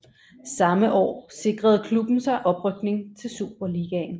Samme forår sikrede klubben sig oprykning til Superligaen